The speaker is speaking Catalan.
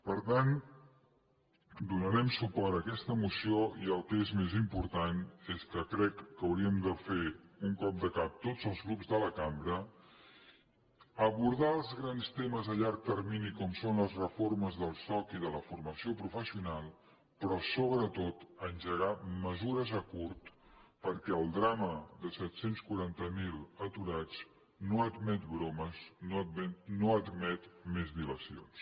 per tant donarem suport a aquesta moció i el que és més important és que crec que hauríem de fer un cop de cap tots els grups de la cambra abordar els grans temes a llarg termini com són les reformes del soc i de la formació professional però sobretot engegar me·sures a curt perquè el drama de set cents i quaranta miler aturats no ad·met bromes no admet més dilacions